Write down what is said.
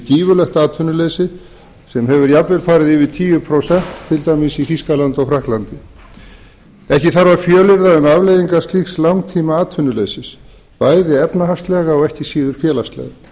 gífurlegt atvinnuleysi sem hefur jafnvel farið yfir tíu prósent til dæmis í frakklandi og þýskalandi ekki þarf að fjölyrða um afleiðingar slíks langtímaatvinnuleysis bæði efnahagslegar og ekki síður félagslegar